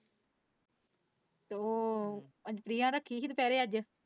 ਤੋਂ ਅਧਿਆਂ ਰੱਖੀ ਸੀ ਦੁਪਹਿਰੇ ਅੱਜ।